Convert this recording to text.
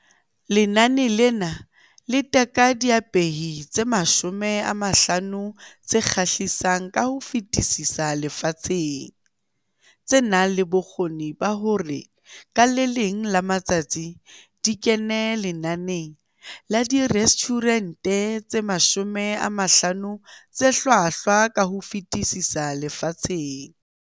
Lenane lena le teka diapehi tse 50 tse kgahlisang ka ho fetisisa lefatsheng, tse nang le bokgoni ba hore ka le leng la matsatsi di kene lenaneng la Direstjhurente tse 50 tse Hlwahlwa ka ho Fetisisa Lefatsheng.